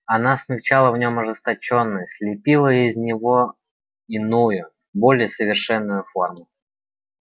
она смягчала в нём ожесточённость лепила из него иную более совершенную форму